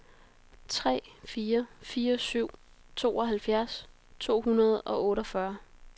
tre fire fire syv tooghalvfjerds to hundrede og otteogfyrre